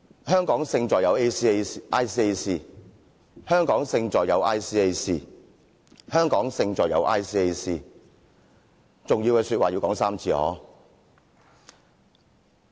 香港勝在有 ICAC、香港勝在有 ICAC、香港勝在有 ICAC， 重要的說話要說3次。